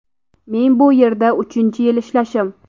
Men bu yerda uchinchi yil ishlashim.